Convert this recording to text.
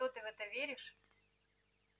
и что ты в это веришь